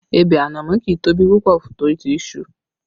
Ebè ànámọ́ kì í tóbi púpọ̀ tó ti iṣu